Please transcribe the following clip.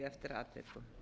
eftir atvikum